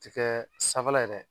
Tɛ kɛ sanfɛ la ye dɛ,